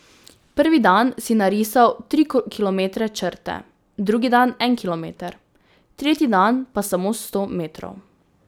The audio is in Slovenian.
Prvi dan si narisal tri kilometre črte, drugi dan en kilometer, tretji dan pa samo sto metrov.